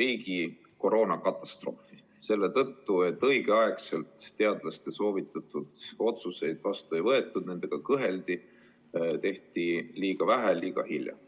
riigi koroonakatastroofini – selle tõttu, et õigel ajal teadlaste soovitatud otsuseid vastu ei võetud, kõheldi, tehti liiga vähe ja liiga hilja.